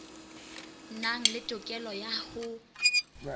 nang le tokelo ya ho